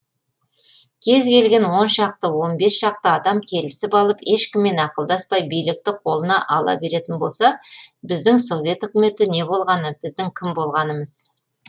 кез келген оншақты он бес шақты адам келісіп алып ешкіммен ақылдаспай билікті қолына ала беретін болса біздің совет үкіметі не болғаны біздің кім болғанымыз